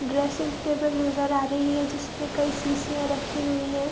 dressing table नजर आ रही है जिस पे कई शीशियां रखी हुई हैं |